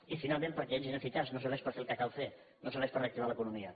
i finalment perquè és ineficaç no serveix per fer el que cal fer no serveix per reactivar l’economia